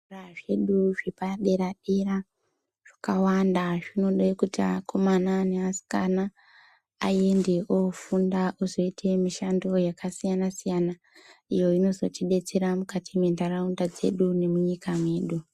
Zvikora zvedu zvepaderadera zvakawanda zvinode kuti akomana neasikana aende ofunda, ozoita mishando yakasiyanasiyana, iyo inozotidetsera mukati mwenharaunda dzedu nemunyika mwedu.